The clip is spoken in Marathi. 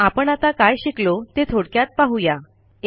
आपण आता काय शिकलो ते थोडक्यात पाहू या